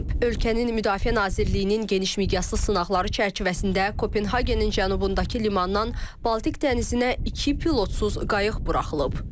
Ölkənin Müdafiə Nazirliyinin geniş miqyaslı sınaqları çərçivəsində Kopenhagenin cənubundakı limandan Baltik dənizinə iki pilotsuz qayıq buraxılıb.